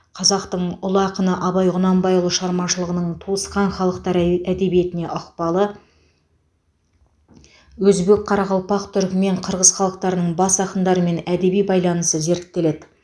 қазақтың ұлы ақыны абай құнанбайұлы шығармашылығының туысқан халықтар әде әдебиетіне ықпалы өзбек қарақалпақ түрікмен қырғыз халықтарының бас ақындарымен әдеби байланысы зерттеледі